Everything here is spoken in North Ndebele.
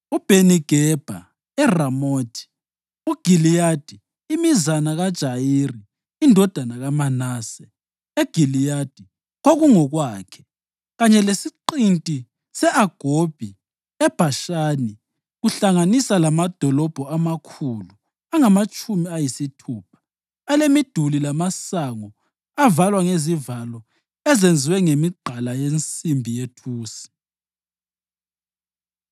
uBheni-Gebha eRamothi Giliyadi (imizana kaJayiri indodana kaManase eGiliyadi kwakungokwakhe, kanye lesiqinti se-Agobhi eBhashani kuhlanganisa lamadolobho amakhulu angamatshumi ayisithupha alemiduli lamasango avalwa ngezivalo ezenziwe ngemigqala yensimbi yethusi);